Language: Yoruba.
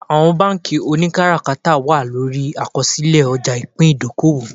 Àwọn bánkì oníkátàkárà wà lórí àkọsílẹ̀ ọjà ìpín ìdókòwò